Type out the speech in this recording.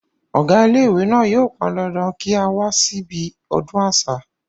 ọ̀gá ilé ìwé náà yóò pán dandan kí á wá sí ibi ọdún àṣà